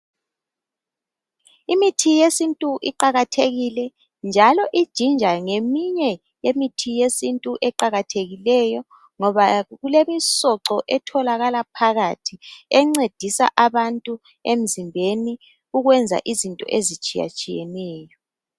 Imithi yesintu iqakathekile njalo iginger ngeminye yemithi yesintu eqakathekileyo ngoba kulemisoco etholakala phakathi encedisa abantu emzimbeni ukwenza izinto ezitshiya tshiyeneyo .